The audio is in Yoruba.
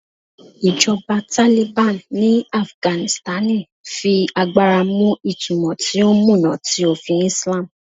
Ijọba Taliban ni Afiganisitani fi agbara mu itumọ ti o muna ti ofin Islam